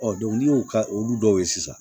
n'i y'o ka olu dɔw ye sisan